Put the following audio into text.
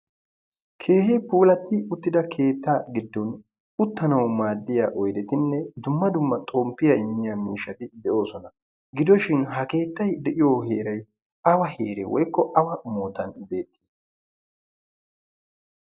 Keehi puulatti uttida keettaa giddon uttanawu maaddiya oydetinne dumma dumma xomppiya immiya miishshati de'oosona. Gidoshin ha keettay de'iyoo heeray awa heere woyikko awa moottan beetti?